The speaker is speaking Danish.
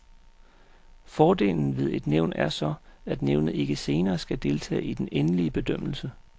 Fordelen ved et nævn er så, at nævnet ikke senere skal deltage i den endelige bedømmelse.